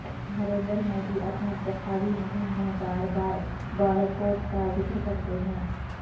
نریندر مودی اپنی انتخابی مہم میں بار بار بالا کوٹ کا ذکر کرتے ہیں